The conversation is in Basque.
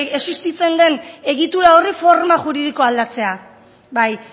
existitzen den egitura horri forma juridikoa aldatzea bai